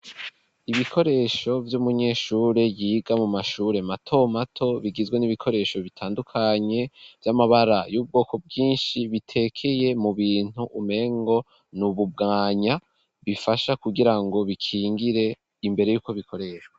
Ibikoresho vy'umunyeshure yiga mu mashure mato mato ,bigizwe n'ibikoresho bitandukanye vy'amabara y'ubwoko bwinshi, bitekeye mu bintu umengo nububwanya bifasha kugirango bikingire imbere y'uko bikoreshwa.